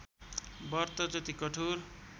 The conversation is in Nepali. व्रत जति कठोर